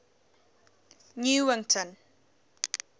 newington